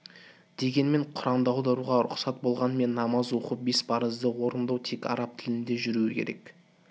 дегенмен құранды аударуға рұқсат болғанымен намаз оқу бес парызды орындау тек араб тілінде жүруі керек